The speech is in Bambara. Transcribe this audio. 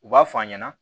U b'a f'a ɲɛna